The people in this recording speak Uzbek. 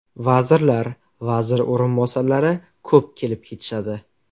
Vazirlar, vazir o‘rinbosarlari ko‘p kelib ketishadi.